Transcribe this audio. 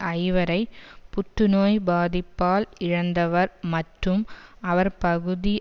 ஐவரை புற்றுநோய் பாதிப்பால் இழந்தவர் மற்றும் அவர் பகுதி